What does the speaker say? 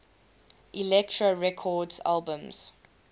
elektra records albums